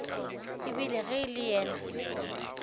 ebile ge e le yena